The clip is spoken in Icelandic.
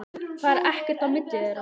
Það er ekkert á milli þeirra.